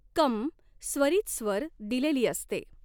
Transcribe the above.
क॑ स्वरीत स्वर दिलेली असते.